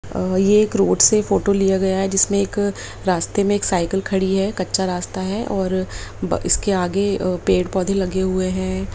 अ ये एक रोड से फोटो लिया गया है जिसमे एक रास्ते में एक साइकिल खड़ी है कच्चा रास्ता है और ब इसके आगे अ पेड़-पौधे लगे हुए है।